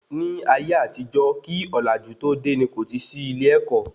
Ní ayé àtijó kí ọ̀làjú tó dé, ní kò tí sí ilé-èkó